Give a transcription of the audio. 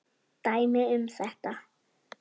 Dæmi um þetta